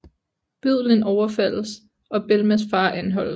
Bødlen overfaldes og Belmas far anholdes